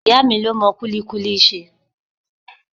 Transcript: Ìyá mi ló mọ kulikuli ṣe.